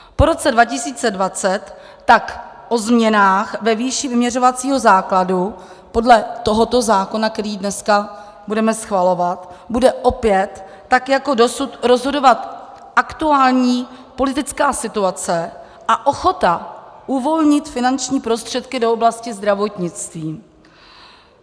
Po roce 2020 tak o změnách ve výši vyměřovacího základu podle tohoto zákona, který dneska budeme schvalovat, bude opět tak jako dosud rozhodovat aktuální politická situace a ochota uvolnit finanční prostředky do oblasti zdravotnictví.